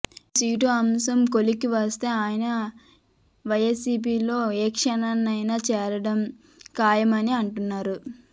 ఈ సీటు అంశం కొలిక్కి వస్తే ఆయన వైసీపీలో ఏ క్షణాన్నైనా చేరడం ఖాయమని అంటున్నారు